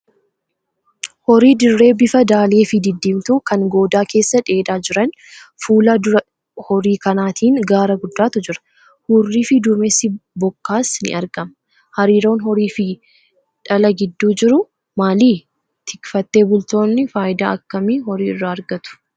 Horii dirree bifa daalee fi didiimtuu kan goodaa keessa dheedaa jiran. Fuula dura horii kanaatiin gaara guddaatu jira. Hurrii fi duumessi bokkaas ni argama. Hariiroon horii fi dhala gidduu jiru maali? Tikfatee bultoonni faayidaa akkamii horii irraa argatu?